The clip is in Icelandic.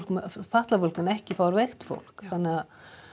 fatlað fólk en ekki fárveikt fólk þannig að